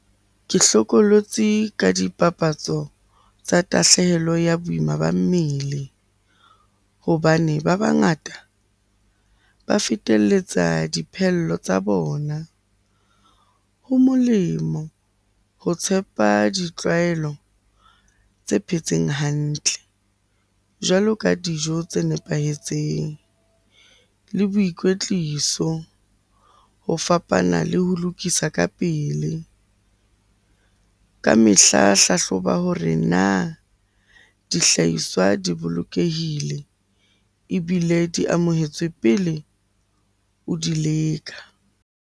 Ke hlokolotsi ka dipapatso tsa tahlehelo ya boima ba mmele hobane ba bangata ba feteletsa dipheello tsa bona. Ho molemo ho tshepa ditlwaelo tse phetseng hantle jwalo ka dijo tse nepahetseng le boikwetliso ho fapana le ho lokisa ka pele. Ka mehla hlahloba hore na dihlahiswa di bolokehile? Ebile di amohetswe pele o di leka.